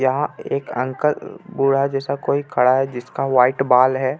यहाँ एक अंकल बूढा जैसा कोई खड़ा हे जिसका वाइट बाल हे.